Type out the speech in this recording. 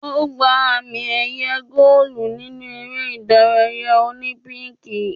Ó gba àmì- ẹ̀yẹ góólù nínú eré ìdárayá Òlímpíìkì.